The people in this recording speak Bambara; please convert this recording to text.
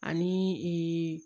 Ani